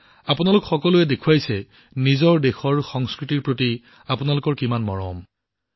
আপোনালোক সকলোৱে দেখুৱাইছে যে আপোনালোকৰ দেশৰ বৈচিত্ৰ্য আৰু সংস্কৃতিৰ প্ৰতি কিমান মৰম আছে